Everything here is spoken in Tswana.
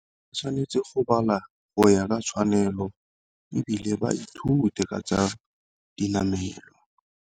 O tshwanetse go bala go ya ka tshwanelo, ebile ba ithute ka tsa dinamelwa.